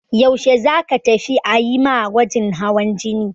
Yaushe za ka tafi a yi ma gwajin hawan jini?